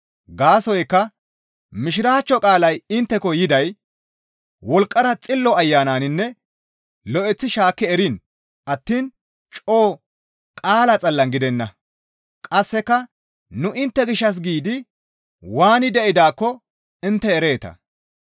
Gaasoykka Mishiraachcho qaalay intteko yiday wolqqara Xillo Ayananinne lo7eththi shaakki eriin attiin coo qaala xallan gidenna; qasseka nu intte gishshas giidi waani de7idaakko intte ereeta.